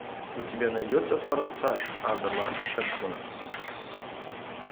у тебя найдется форсаж адама шенкмана